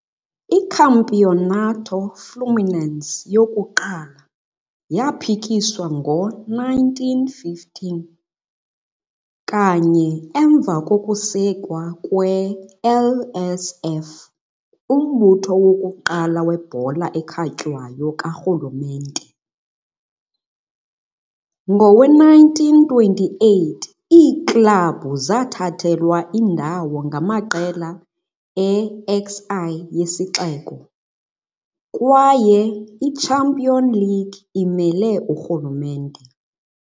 I-Campeonato Fluminense yokuqala yaphikiswa ngo-1915, kanye emva kokusekwa kwe-LSF, umbutho wokuqala webhola ekhatywayo karhulumente. Ngowe-1928 iiklabhu zathathelwa indawo ngamaqela e-XI yesixeko, kwaye i-champion league imele urhulumente.